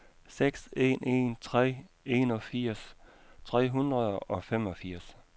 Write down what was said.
seks en en tre enogfirs tre hundrede og femogfirs